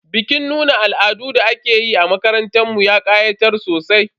Bikin nuna al'adun da aka yi a makarantar mu ya ƙayatar sosai.